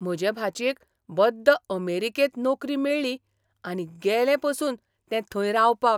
म्हजे भाचयेक बद्द अमेरिकेंत नोकरी मेळ्ळी आनी गेलें पासून तें थंय रावपाक.